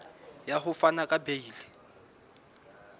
ya ho fana ka beile